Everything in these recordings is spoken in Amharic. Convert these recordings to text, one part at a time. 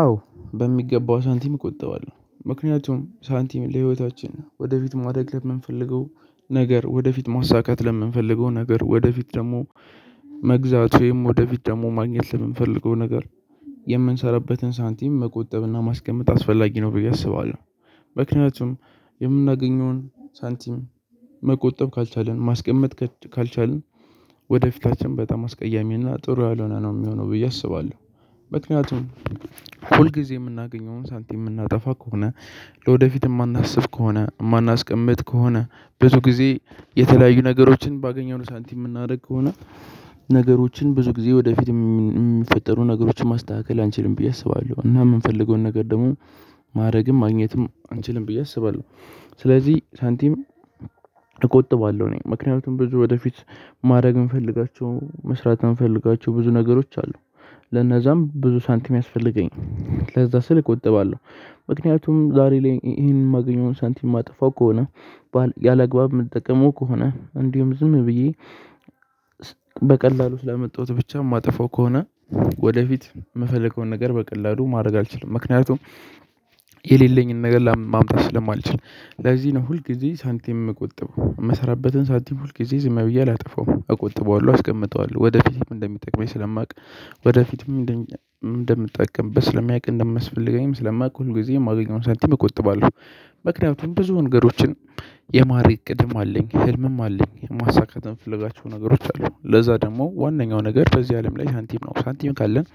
አዎ በሚገባ ሳንቲም እቆጥባለሁ ምክንያቱም ሳንቲም ለህይወታችን ወደፊት ማደግ ለምንፈልገው ነገር ወደፊት ማሳካት ለምንፈልገው ነገር ወደፊት ደግሞ መግዛት ወይም ወደፊት ደግሞ ማግኘት ለምንፈልገው ነገር የምንሰራበትን ሳንቲም መቆጠብና ማስቀመጥ አስፈላጊ ነው ብዬ አስባለሁ። ምክንያቱም የምናገኘውን ሳንቲም መቆጠብ ካልቻልን ማስቀመጥ ካልቻልን ወደፊታችን በጣም አስቀያሚና ጥሩ ያልሆነ ነው የሚሆነው ብዬ አስባለሁ። ምክንያቱም ሁል ጊዜ የምናገኘውን ሳንቲም የምናጠፋ ከሆነ ለወደፊት የማናስብ ከሆነ የማናስቀምጥ ከሆነ ብዙ ጊዜ የተለያዩ ነገሮችን ባገኘነው ሳንቲም የምናደርግ ከሆነ ነገሮችን ብዙ ጊዜ ወደፊትም የሚፈጠሩ ነገሮችን ማስተካከል አንችልም ብዬ አስባለሁ። እና የምንፈልገውን ነገር ደግሞ ማድረግም ማግኘትም አንችልም ብዬ አስባለሁ። ስለዚህ ሳንቲም እቆጥባለሁ እኔ ምክንያቱም ብዙ ወደፊት ማድረግ የምፈልጋቸው መስራት የምፈልጋቸው ብዙ ነገሮች አሉ ለነዛም ብዙ ሳንቲም ያስፈልገኝ ለዛ ስልክ እቆጥባለሁ። ምክንያቱም ዛሬ ላይ ይሄን የማገኘውን ሳንቲም የማጠፋው ከሆነ ያላግባብ የምጠቀመው ከሆነ እንዲሁም ዝም ብዬ በቀላሉ ስላመጣሁት ብቻ የማጠፋው ከሆነ ወደፊት የምፈልገውን ነገር በቀላሉ ማድረግ አልችልም። ምክንያቱም የሌለኝን ነገር ለማምጣት ስለማልችል ለዚህ ነው ሁል ጊዜ ሳንቲም የምቆጥበው የምሰራበትን ሳንቲም ሁልጊዜ ዝም ብዬ አላጠፋውም አቆጥበዋለሁ አስቀምጠዋለሁ ወደፊትም እንደሚጠቅመኝ ስለማውቅ ወደፊትም እንደምጠቀምበት ስለሚያውቅ እንደሚያስፈልገኝም ስለማውቅ ሁልጊዜም የማገኘውን ሳንቲም እቆጥባለሁ። ምክንያቱም ብዙ ነገሮችን የማድረግ እቅድም አለኝ ህልምም አለኝ ማሳካት የምፈልጋቸው ነገሮች አሉ ለዛ ደግሞ ዋነኛው ነገር በዚህ አለም ላይ ሳንቲም ነው ሳንቲም ካለን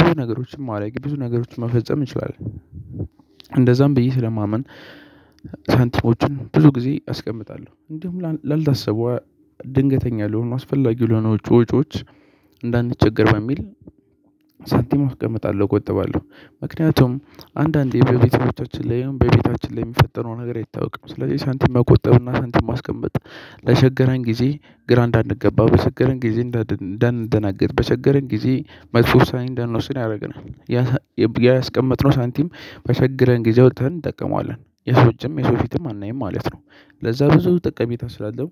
ብዙ ነገሮችን ማድረግ ብዙ ነገሮችን መፈጸም እንችላለን። እንደዛም ብዬ ስለማመን ሳንቲሞችን ብዙ ጊዜ አስቀምጣለሁ እንደውም ላልታሰበው ድንገተኛ ለሆኑ አስፈላጊ ለሆነ ወጪ ወጪዎች እንዳንቸገር በሚል ሳንቲም አስቀምጣለሁ እቆጥባለሁ። ምክንያቱም አንዳንዴ በቤተሰቦቻችን ላይ ይሁን በቤታችን ላይ የሚፈጠረው ነገር አይታወቅም ስለዚህ ሳንቲም መቆጠብና ሳንቲም ማስቀመጥ ለቸገረን ጊዜ ግራ እንዳንገባ በቸገረን ጊዜ እንዳንደነግጥ በቸገረን ጊዜ መጥፎ ውሳኔ እንዳንወስን ያደርገናል። ያ ያስቀመጥነው ሳንቲም በቸገረን ጊዜ አውጥተን እንጠቀመዋለን የሰው እጅም የሰው ፊትም አናይም ማለት ነው። ለዛ ብዙ ጠቀሜታ ስላለው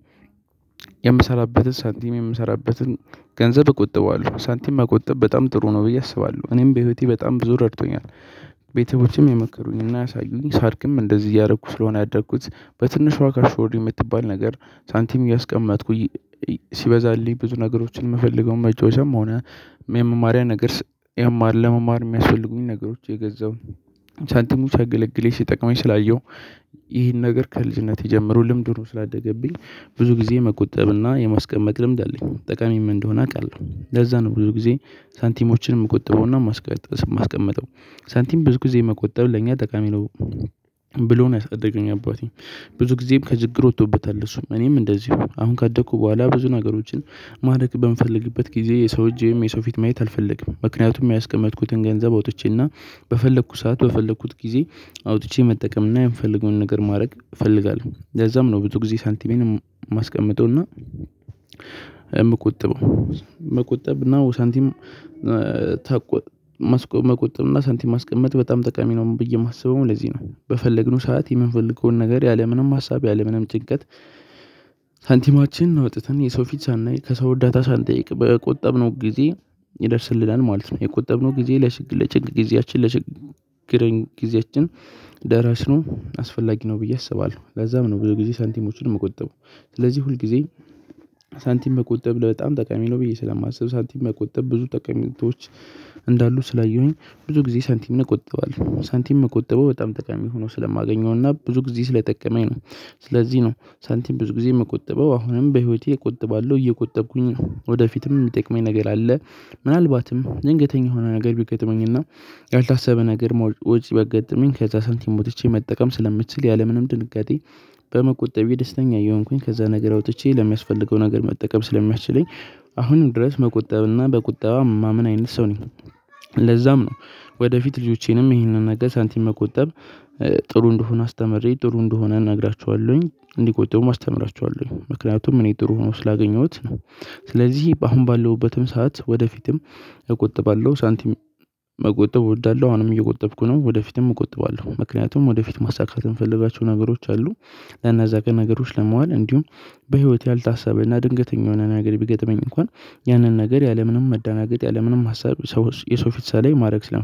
የምሰራበትን ሳንቲም የምሰራበትን ገንዘብ እቆጥበዋለሁ ሳንቲም መቆጠብ በጣም ጥሩ ነው ብዬ አስባለሁ እኔም በህይወቴ በጣም ብዙ ረድቶኛል። ቤተሰቦቼም የመከሩኝና ያሳዩኝ ሳድግም እንደዚህ እያደረኩ ስለሆነ ያደኩት በትንሿ ካሽ ቦርድ የምትባል ነገር ሳንቲም እያስቀመጥኩኝ ሲበዛልኝ ብዙ ነገሮችን የምፈልገው መጮቻም ሆነ የመማሪያ ነገር የማል ለመማር የሚያስፈልጉኝ ነገሮች እየገዛው ሻሳቲሙ ሲያገለግለኝ ሲጠቅመኝ ስላየሁ። ይህን ነገር ከልጅነቴ ጀምሩ ልምድ ሆኖ ስላደገብኝ ብዙ ጊዜ መቆጠብና የማስቀመጥ ልምድ አለኝ ጠቃሚም እንደሆነ አውቃለሁ። ለዛ ነው ብዙ ጊዜ ሳንቲሞችን የምቆጥበውና የማስቀመጠው ሳንቲም ብዙ ጊዜ መቆጠብ ለእኛ ጠቃሚ ነው። ብሎ ነው ያሳደገኝ አባቴ። ብዙ ጊዜም ከችግር ወጥቶበታል እሱ እኔም እንደዚሁ አሁን ካደኩ በኋላ ብዙ ነገሮችን ማድረግ በምፈልግበት ጊዜ የሰው እጅ ወይም የሰው ፊት ማየት አልፈልግም ምክንያቱም ያስቀመጥኩትን ገንዘብ አውጥቼና በፈለኩት ሰዓት በፈለኩት ጊዜ አውጥቼ መጠቀም እና የምፈልገውን ነገር ማድረግ እፈልጋለሁ። ለዛም ነው ብዙ ጊዜ ሳንቲሜንም ማስቀምጠውና የምቆጥበው መቆጠብ እና ሳንቲም ተቆ መቆጠብ እና ሳንቲም ማስቀመጥ በጣም ጠቃሚ ነው። ብዬ የማስበው ለዚህ ነው በፈለግነው ሰዓት የምንፈልገውን ነገር ያለምንም ሀሳብ ያለምንም ጭንቀት ሳንቲማችንን አውጥተን የሰው ፊት ሳናይ ከሰው አርዳታ ሳንጠይቅ በቆጠብነው ጊዜ ይደርስልናል ማለት ነው። የቆጠብነው ጊዜ ለችግር ለጭንቅ ጊዜያችን ለችግር ጊዜያችን ደራሽ ነው አስፈላጊ ነው ብዬ አስባለሁ። ለዛም ነው ብዙ ጊዜ ሳንቲሞችን እምቆጥበው ስለዚህ ሁልጊዜ ሳንቲም መቆጠብ በጣም ጠቃሚ ነው ብዬ ስለማስብ ሳንቲም መቆጠብ ብዙ ጠቀሜታዎች እንዳሉ ስላየሁኝ ብዙ ጊዜ ሳንቲምን እቆጥባለው ሳንቲም እምቆጥበው በጣም ጠቃሚ ሆኖ ስለማገኘውና ብዙ ጊዜ ስለጠቀመኝ ነው። ስለዚህ ነው ሳንቲም ብዙ ጊዜ የምቆጥበው አሁንም በህይወቴ እቆጥባለሁ እየቆጠብኩኝ ነው ወደፊትም የሚጠቅመኝ ነገር አለ። ምናልባትም ድንገተኛ የሆነ ነገር ቢገጥመኝና ያልታሰበ ነገር ውጪ ቢያጋጥመኝ ከዛ ሳንቲም አውጥቼ መጠቀም ስለምችል ያለምንም ድንጋጤ በመቆጠቤ ደስተኛ እየሆንኩኝ ከዛ ነገር አውጥቼ ለሚያስፈልገው ነገር መጠቀም ስለሚያስችለኝ። አሁንም ድረስ መቆጠብና በቁጠባ እማምን አይነት ሰው ነኝ። ለዛም ነው ወደፊት ልጆቼንም ይህንን ነገር ሳንቲም መቆጠብ ጥሩ እንደሆነ አስተምሬ ጥሩ እንደሆነ እነግራቸኋለሁኝ እንዲቆጥቡም አስተምራቸኋለሁኝ ምክንያቱም እኔ ጥሩ ሆኖ ስላገኘሁት ነው። ስለዚህ አሁን ባለውበትም ሰዓት ወደፊትም እቆጥባለሁ ሳንቲም መቆጠብ እወዳለሁ። አሁንም እየቆጠብኩ ነው ወደፊትም እቆጥባለሁ ምክንያቱም ወደፊት ማሳካት የምፈልጋቸው ነገሮች አሉ። ለእነዛ ቀን ነገሮች ለማዋል እንዲሁም በህይወት ያልታሰበና ድንገተኛ የሆነ ነገር ቢገጥመኝ እንኳን ያንን ነገር ያለምንም መዳናገጥ ያለምንም ሀሳብ ሰው የሰው ፊት ሳላይ ማድረግ ስለምፈ